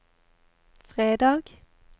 fredag